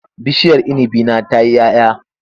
Bishiyar inibi na ta yi 'ya 'ya.